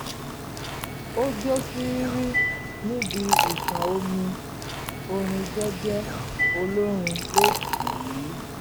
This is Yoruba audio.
ó jó fírí níbi ìṣàn omi orin jẹ́jẹ́ olórin ló tì í